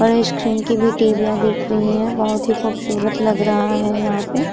बड़े स्क्रीन की भी टीवीयाँ दिख दिख रही हैं। बोहोत ही खूबसूरत लग रहा है यहाँ पे।